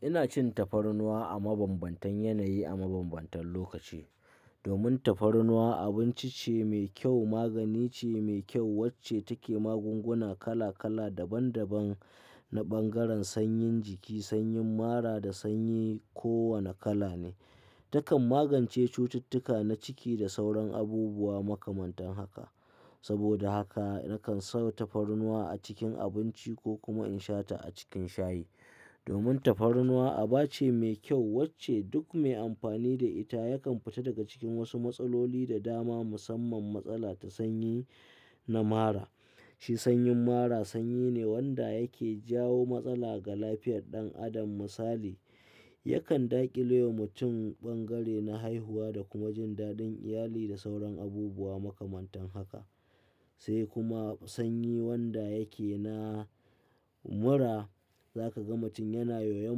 Ina cin tafarnuwa a mabambantan yanayi, a mabambantan lokaci. Domin tafarnuwa abinci ce mai kyau, magani ce mai kyau wacce take magunguna kala kala daban daban na bangaren sanyin jiki, sanyin mara da sanyi ko wane kala ne. Takan magance cututtuka na ciki da sauran abubuwa makamantan haka. Saboda haka nakan sau tafarnuwa a cikin abinci ko kuma in sha ta a cikin shayi. Domin tafarnuwa aba ce mai kyau wacce duk mai amfani da ita yakan fita daga cikin wasu matsaloli da dama musamman matsala ta sanyi na mara. Shi sanyin mara sanyi ne wanda yake jawo matsala ga lafiyar ɗan adam misali, yakan daƙile wa mutum bangare na haihuwa da kuma jin dadin iyali da sauran abubuwa makamantan haka. Sai kuma sanyi wanda yake na mura, za ka ga mutum yana yoyon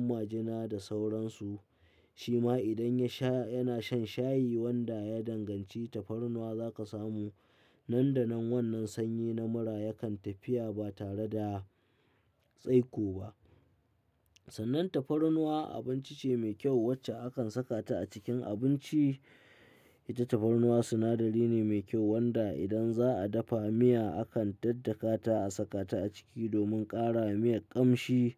majina da sauransu. Shima idan ya sha, yana shan shayi wanda ya danganci tafarnuwa za ka samu nan da nan wannan sanyi na mura yakan tafiya ba tare da tsaiko ba. Sannan tafarnuwa abinci ce mai kyau wacce akan sakata a cikin abinci. Ita tafarnuwa sinadari ne mai kyau wanda idan za'a dafa miya akan daddakata a sakata a ciki domin ƙarawa miyar ƙamshi.